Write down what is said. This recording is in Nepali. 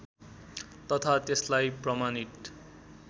तथा त्यसलाई प्रमाणित